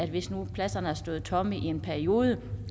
hvis nu pladserne har stået tomme i en periode